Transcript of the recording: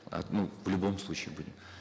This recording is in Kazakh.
а ну в любом случае будем